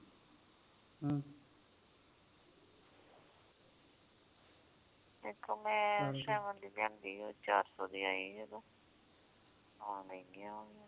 ਜਿਥੋਂ ਮੈਂ ਦੀ ਲਿਆਂਦੀ ਉਹ ਚਾਰ ਸੌ ਦੀ ਆਈ ਹੀ ਉਦੋਂ ਹੋਰ ਮਹਿੰਗੀਆਂ ਹੋ ਗਈਆ